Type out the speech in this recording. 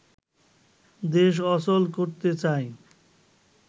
দেশ অচল করতে চায়